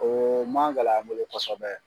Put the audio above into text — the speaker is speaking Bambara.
O ma gɛlɛ an bolo kosɛbɛ.